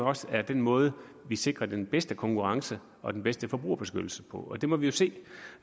også er den måde vi sikrer den bedste konkurrence og den bedste forbrugerbeskyttelse på det må vi jo se